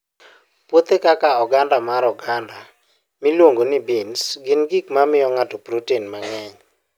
Puothe kaka oganda mar oganda miluongo ni beans, gin gik ma miyo ng'ato protein mang'eny.